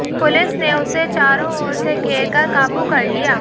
police ने उसे चारों ओर से घेर कर काबू कर लिया